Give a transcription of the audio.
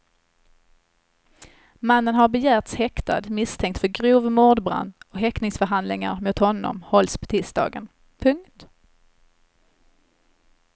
Mannen har begärts häktad misstänkt för grov mordbrand och häktningsförhandlingar mot honom hålls på tisdagen. punkt